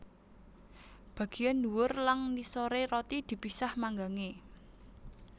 Bageyan ndhuwur lang ngisore roti dipisah manggange